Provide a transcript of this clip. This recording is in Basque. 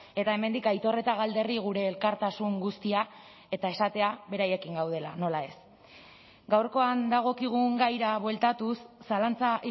eta hemendik aitor eta galderri gure elkartasun guztia eta esatea beraiekin gaudela nola ez gaurkoan dagokigun gaira bueltatuz zalantza